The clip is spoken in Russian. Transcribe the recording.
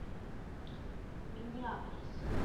миннеаполис